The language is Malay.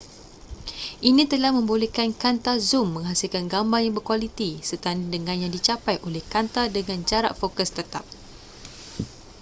ini telah membolehkan kanta zum menghasilkan gambar yang berkualiti setanding dengan yang dicapai oleh kanta dengan jarak fokus tetap